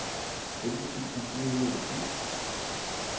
elleve tusind fire hundrede og ti